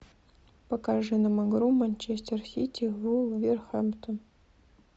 покажи нам игру манчестер сити вулверхэмптон